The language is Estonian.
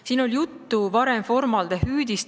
Siin on varem olnud juttu formaldehüüdist.